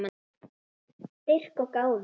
Styrk og gáfur.